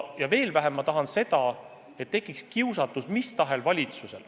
Ja veel vähem ma tahan seda, et mis tahes valitsusel tekiks teatud kiusatus.